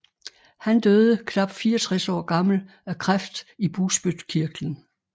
Han døde knap 64 år gammel af kræft i bugspytkirtlen